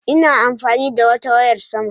Ina amfani da wata wayar saman